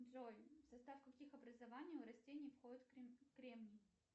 джой в состав каких образований у растений входит кремний